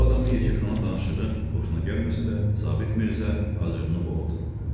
Bu adamın yekəxana danışığı xoşuna gəlməsə də, Sabit Mirzə acığını boğdu.